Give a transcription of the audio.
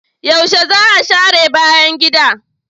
Yaushe za a share bayan gida?